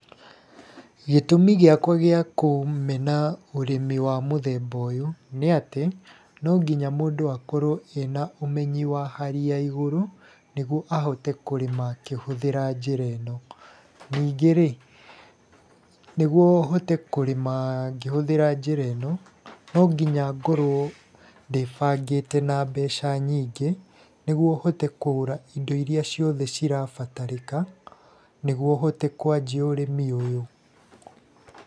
Gĩtũmi gĩakwa gĩa kũmena ũrĩmi wa mũthemba ũyũ nĩ atĩ no nginya mũndũ akorwo ena ũmenyi wa hali ya iguru nĩguo ahote kũrĩma akĩhũthĩra njĩra ino. Ningĩ rĩ nĩguo hote kũrĩma ngĩhũthĩra njĩra ĩno no ngĩya ngorwo ndĩbangĩte na mbeca nyingĩ nĩguo hote kũgũra indo iria ciothe cirabatarĩka nĩguo hote kwanjia ũrĩmi ũyũ.